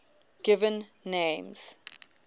given names